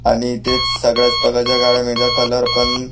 आणि इथे सगळ्याच प्रकारच्या गाड्या मिळतात कलर पण --